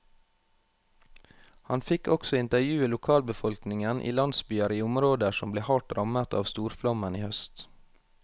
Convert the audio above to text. Han fikk også intervjue lokalbefolkningen i landsbyer i områder som ble hardt rammet av storflommen i høst.